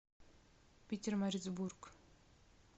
питермарицбург